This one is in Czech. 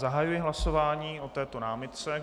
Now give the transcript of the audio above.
Zahajuji hlasování o této námitce.